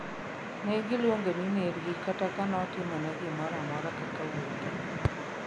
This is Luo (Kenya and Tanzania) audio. Negiluonge ni ner gi kata ka notimone gi gimoro amora kaka wuon gi